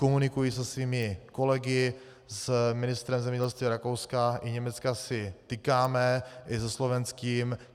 Komunikuji se svými kolegy, s ministrem zemědělství Rakouska i Německa si tykáme, i se slovenským.